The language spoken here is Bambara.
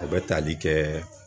O bɛ tali kɛ